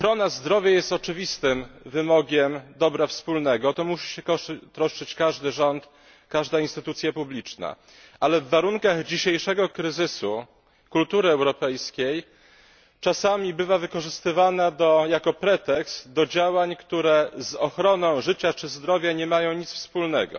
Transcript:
Panie Przewodniczący! Ochrona zdrowia jest oczywistym wymogiem dobra wspólnego. O to musi się troszczyć każdy rząd, każda instytucja publiczna, ale w warunkach dzisiejszego kryzysu kultury europejskiej czasami bywa wykorzystywana jako pretekst do działań, które z ochroną życia czy zdrowia nie mają nic wspólnego.